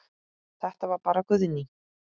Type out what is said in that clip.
Þetta var bara Guðný.